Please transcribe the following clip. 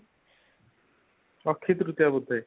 ଅକ୍ଷିତୃତୀୟା ବୋଧେ